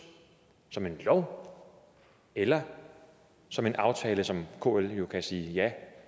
som en lov eller som en aftale som kl jo kan sige ja